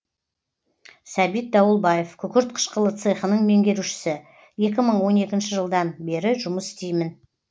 сәбит дауылбаев күкірт қышқылы цехының меңгерушісі екі мың он екінші жылдан бері жұмыс істеймін